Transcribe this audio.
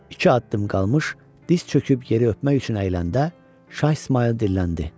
İki addım qalmış diz çöküb yeri öpmək üçün əyiləndə Şah İsmayıl dilləndi.